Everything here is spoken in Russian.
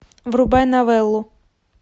врубай новеллу